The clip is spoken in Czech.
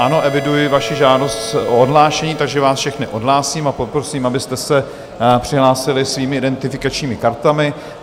Ano, eviduji vaši žádost o odhlášení, takže vás všechny odhlásím a poprosím, abyste se přihlásili svými identifikačními kartami.